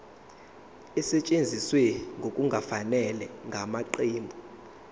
esetshenziswe ngokungafanele ngamaqembu